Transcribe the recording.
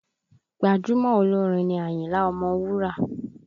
Gbajúmọ̀ olórin ni Àyìnlá ọmọ Wúrà.